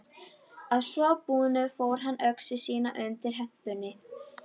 Að svo búnu fól hann öxi sína undir hempunni.